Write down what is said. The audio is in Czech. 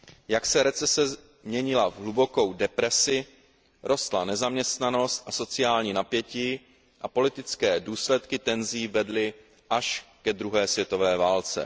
Jak se recese měnila v hlubokou depresi, rostla nezaměstnanost a sociální napětí a politické důsledky tenzí vedly až ke 2. světové válce.